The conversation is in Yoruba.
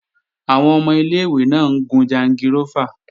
Àwọn ọmọ ilé-ìwé náà ń gun jangirófà